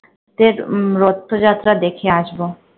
রথযাত্রা দেখে আসবো।